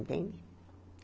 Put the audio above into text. Entende?